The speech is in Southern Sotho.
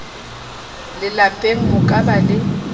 lelapeng ho ka ba le